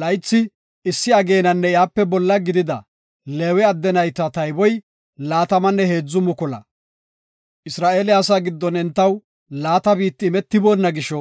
Laythi issi ageenanne iyape bolla gidida Leewe adde nayta tayboy laatamanne heedzu mukula. Isra7eele asaa giddon entaw laata biitti imetiboonna gisho